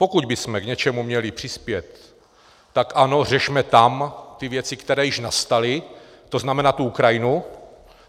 Pokud bychom k něčemu měli přispět, tak ano, řešme tam ty věci, které již nastaly, to znamená tu Ukrajinu.